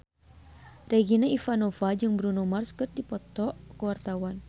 Regina Ivanova jeung Bruno Mars keur dipoto ku wartawan